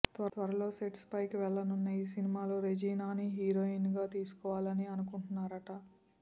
త్వరలో సెట్స్ పైకి వెళ్లనున్న ఈ సినిమాలో రేజీనాని హీరోయిన్ గా తీసుకోవాలని అనుకుంటున్నారట